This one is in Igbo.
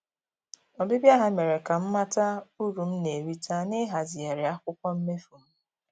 Ọbịbịa ha mere ka m mata uru m na-erita na-ịhazigharị akwụkwọ mmefu m